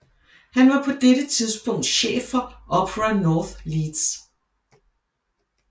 Han var på dette tidspunkt chef for Opera North i Leeds